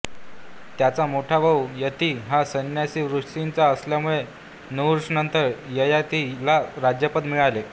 त्याचा मोठा भाऊ यती हा संन्यासी वृत्तीचा असल्यामुळे नहुष नंतर ययाति ला राज्यपद मिळाले